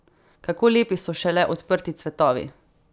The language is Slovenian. Kako lepi so šele odprti cvetovi!